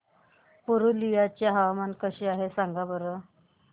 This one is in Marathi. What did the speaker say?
पुरुलिया चे हवामान कसे आहे सांगा बरं